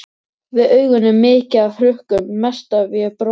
Við augun er mikið af hrukkum, mest ef ég brosi.